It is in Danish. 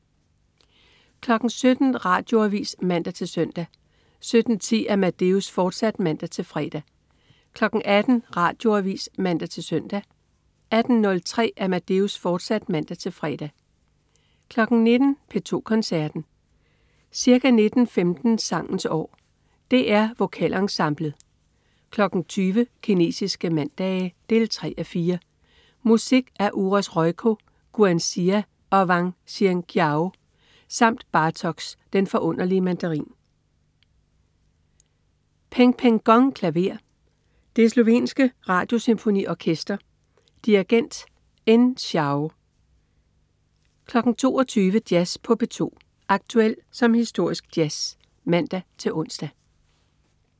17.00 Radioavis (man-søn) 17.10 Amadeus, fortsat (man-fre) 18.00 Radioavis (man-søn) 18.03 Amadeus, fortsat (man-fre) 19.00 P2 Koncerten. Ca. 19.15 Sangens år. DR Vokalensemblet. 20.00 Kinesiske mandage 3:4. Musik af Uros Rojko, Guan Xia og Wang Yanqiao samt Bartoks Den forunderlige Mandarin. Peng Peng Gong, klaver. Det slovenske Radiosymfoniorkester. Dirigent: En Shao 22.00 Jazz på P2. Aktuel som historisk jazz (man-ons)